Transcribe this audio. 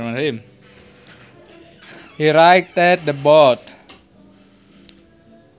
He righted the boat